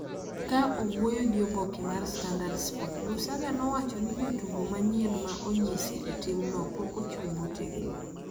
Ka owuoyo gi oboke mar Standard Sport, Lusaga nowacho ni jotugo manyien ma onyisi e timno pok ochung' motegno,